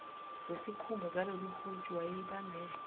zesikhumba zaloluhuntshu wayeyibambe